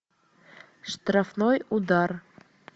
штрафной удар